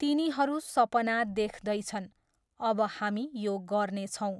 तिनीहरू सपना देख्दै छन् अब हामी यो गर्नेछौँ।